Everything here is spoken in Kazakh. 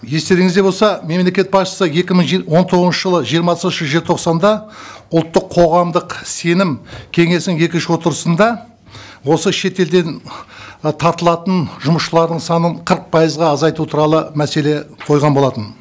естеріңізде болса мемлекет басшысы екі мың он тоғызыншы жылы жиырмасыншы желтоқсанда ұлттық қоғамдық сенім кеңесінің екінші отырысында осы шетелден ы тартылатын жұмысшылардың санын қырық пайызға азайту туралы мәселе қойған болатын